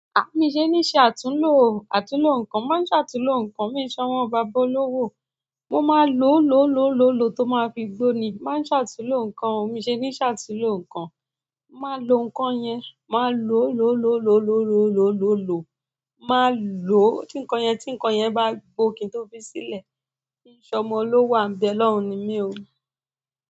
Mi ò ṣe ní ṣe àtúnlò, àtúnlò nǹkan mo máa ń ṣàtúnlò nǹkan mi n ṣe ọmọ bàbá olówó mo máa lòó lòó lòó lòó lòó tó máa fi gbóni mo máa ń ṣàtúnlò nǹkan o mi ṣe ní ṣàtúnlò nǹkan. Máa lò nkan yẹn máa lò ló ló ló ló ló ló ló lò. Máa lòó tí nǹkan yẹn tí nǹkan yẹn bá gbó kí n tó fi sílẹ̀. Mí n ṣ'ọmọ olówò à n be'lọ́run ni mí o.